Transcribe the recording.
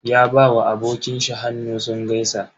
Ya ba wa abokin shi hannu sun gaisa.